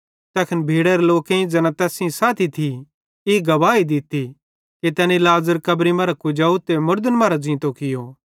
तैखन भीड़रे लोकेईं ज़ैना तैस सेइं थी ई गवाही दित्ती कि तैनी लाज़र कब्री मरां कुजाव ते मुड़न मरां ज़ींतो कियो